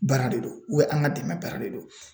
Baara de don an ka dɛmɛ baara de don